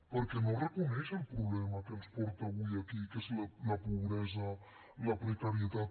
perquè no reconeix el problema que ens porta avui aquí que és la pobresa la precarietat